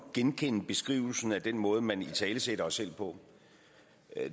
genkende beskrivelsen af den måde man italesætter sig selv på